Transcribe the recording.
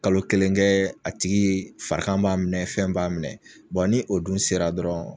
Kalo kelen kɛɛ a tigii farikan b'a minɛ fɛn b'a minɛ ni o dun sera dɔrɔn